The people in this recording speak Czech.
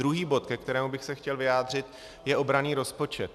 Druhý bod, ke kterému bych se chtěl vyjádřit, je obranný rozpočet.